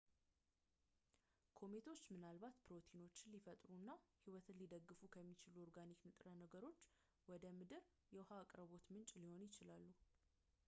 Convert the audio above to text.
ኮሜቶች ምናልባት ፕሮቲኖችን ሊፈጥሩ እና ህይወትን ሊደግፉ ከሚችሉ ኦርጋኒክ ንጥረ ነገሮች ጋር ወደ ምድር የውሃ አቅርቦት ምንጭ ሊሆኑ ይችላሉ